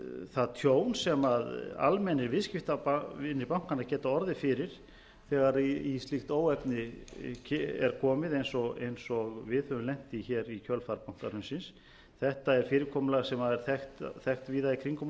það tjón sem almennir viðskiptavinir bankanna geta orðið fyrir þegar í slíkt óefni er komið eins og við höfum lent í í kjölfar bankahrunsins þetta er fyrirkomulag sem er þekkt víða í kringum